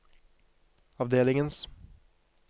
avdelingens